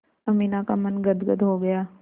अमीना का मन गदगद हो गया